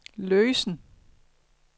løsen